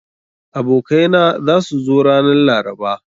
Abokai na za su zo ranan laraba.